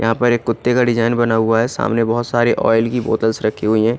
यहाँ पर कुत्ते का डिजाइन बना हुआ है सामने एक ऑइल की बोतल्स रखी हुई है।